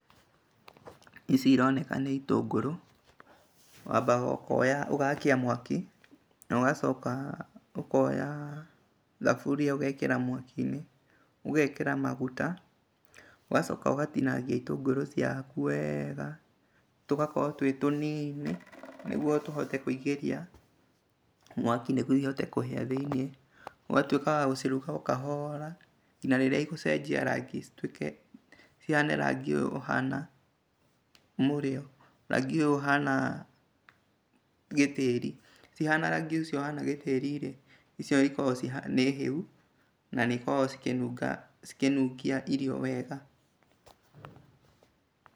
Ici ironeka nĩ itũngũrũ. Wambaga kwoya ũgakia mwaki ũgacoka ũkoya thaburia ũgekĩra mwakinĩ ũgekĩra maguta ũgacoka ũgatinangĩria itũngũrũ ciaku wega, tũgakorwo tũĩtũnini nĩguo tũhote kũĩngĩria mwaki nĩguo ihote kũhĩa thĩiniĩ. ũgatuĩka wagũciruta okahora, narĩrĩa igũcenjia rangi cituĩke, cihane rangi ũyũ ũhana mũrĩo , rangi ũyũ ũhana gĩtĩĩri. Ciahana rangi ũcio ũhana gĩtĩrĩrĩ icio ikorahwo nĩhĩu nanĩikoragwo cikĩnunga cikĩnungia irio wega.